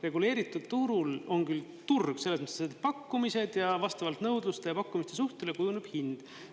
Reguleeritud turul on küll turg, selles mõttes, et on pakkumised ja vastavalt nõudluse ja pakkumise suhtele kujuneb hind.